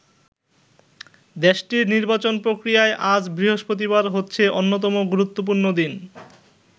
দেশটির নির্বাচন প্রক্রিয়ায় আজ বৃহস্পতিবার হচ্ছে অন্যতম গুরুত্বপূর্ণ দিন।